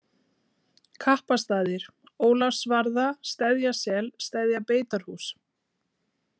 Kappastaðir, Ólafsvarða, Steðjasel, Steðjabeitarhús